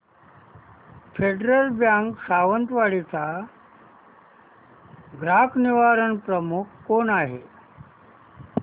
federal bank Sawantwadi चा ग्राहक निवारण प्रमुख कोण आहे